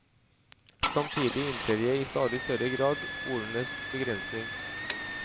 Samtidig innser jeg i stadig større grad ordenes begrensning.